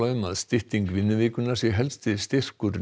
um að stytting vinnuvikunnar sé helsti styrkur